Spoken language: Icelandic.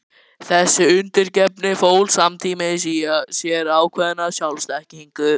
Þessi undirgefni fól samtímis í sér ákveðna sjálfsþekkingu.